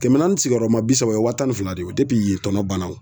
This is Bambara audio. Kɛmɛ naani sigiyɔrɔma bi saba o ye wa tan ni fila de ye yen tɔnɔ banna o.